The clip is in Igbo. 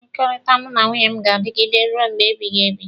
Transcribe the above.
Mmekọrịta mụ na nwunye m ga-adigide ruo mgbe ebighị ebi.